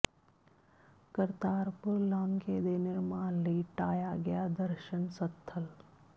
ਕਰਤਾਰਪੁਰ ਲਾਂਘੇ ਦੇ ਨਿਰਮਾਣ ਲਈ ਢਾਹਿਆ ਗਿਆ ਦਰਸ਼ਨ ਸਥਲ